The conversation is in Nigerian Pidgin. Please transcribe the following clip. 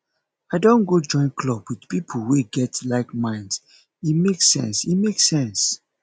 i don go join club with pipo wey get likeminds e make sense e make sense